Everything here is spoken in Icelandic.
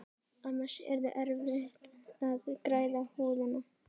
Annars yrði erfitt að græða húðina.